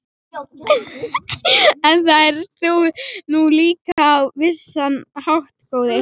En það ert þú nú líka á vissan hátt, góði